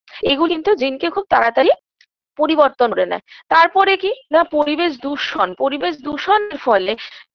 এগুলো কিন্তু জিনকে খুব তাড়াতাড়ি পরিবর্তন করে নেয় তারপরে কি না পরিবেশ দূষণ পরিবেশ দূষণের ফলে